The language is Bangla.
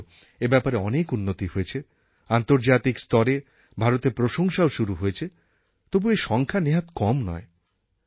যদিও এই ব্যাপারে অনেক উন্নতি হয়েছে আন্তর্জাতিক স্তরে ভারতের প্রশংসাও শুরু হয়েছে তবুও এই সংখ্যা নেহাত কম নয়